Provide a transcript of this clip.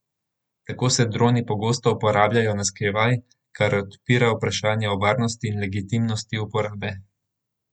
Tako se droni pogosto uporabljajo na skrivaj, kar odpira vprašanja o varnosti in legitimnosti uporabe.